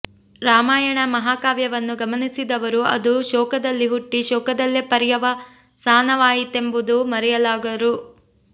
ರಾಮಾಯಣ ಮಹಾಕಾವ್ಯವನ್ನು ಗಮನಿಸಿದವರು ಅದು ಶೋಕದಲ್ಲಿ ಹುಟ್ಟಿ ಶೋಕದಲ್ಲೇ ಪರ್ಯವಸಾನವಾಯಿತೆಂಬುದನ್ನು ಮರೆಯಲಾರರು